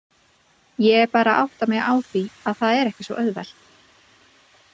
Ég er bara að átta mig á því að það er ekki svo auðvelt.